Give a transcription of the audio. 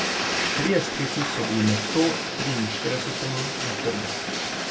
Trije strici so bili med sto triinšestdesetimi na trgu.